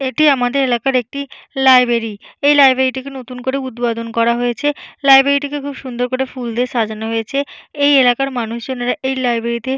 এটি আমাদের এলাকার একটি লাইব্রেরি । এই লাইব্রেরিটিকে নতুন করে উদ্বোধন করা হয়েছে। লাইব্রেরিটিকে খুব সুন্দর করে ফুল দিয়ে সাজানো হয়েছে। এই এলাকার মানুষজনেরা এই লাইব্রেরিতে --